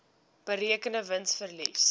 berekende wins verlies